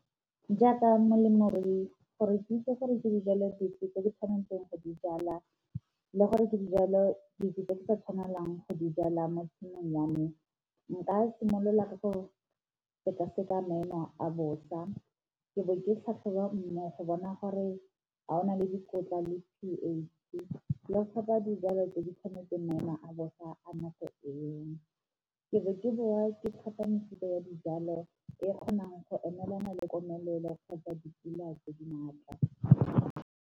Jaaka molemirui gore ke itse gore ke dijalo dife tse di tshwanetseng go di jala le gore ke dijalo dife tse di sa tshwanelang go di jala mo tshimong ya me, nka simolola ka go seka-seka maemo a bosa, ke bo ke tlhatlhoba mmu go bona gore a ona le dikotla le p_H le go tlhopha dijalo tse di tshwanetseng maemo a bosa a nako eo. Ke be ke bowa ke tlhopha mefuta ya dijalo e kgonang go emelana le komelelo kgotsa dipula tse di maatla.